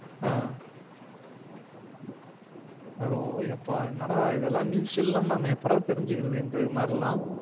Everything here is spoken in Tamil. ஆஹ் அயோ எப்பா என்னடா இதுல news எல்லாம் நம்ம எப்படறா தெரிஞ்சிகிறது இந்த மாறிலா